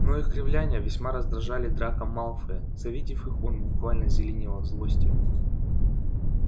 но их кривляния весьма раздражали драко малфоя завидев их он буквально зеленел от злости